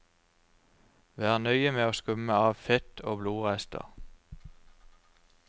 Vær nøye med å skumme av fett og blodrester.